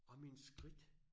Og mine skridt